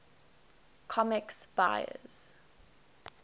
comics buyer s